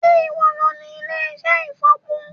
Sé ìwo lo ní ilé-iṣẹ́ ìfọ̀po?